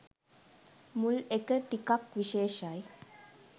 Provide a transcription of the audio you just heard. මුල් එක ටිකක් විශේෂයි